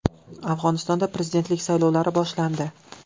Afg‘onistonda prezidentlik saylovlari boshlandi.